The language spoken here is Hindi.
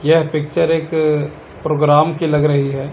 यह पिक्चर एक प्रोग्राम की लग रही है।